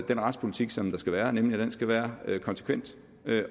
den retspolitik som der skal være nemlig at den skal være konsekvent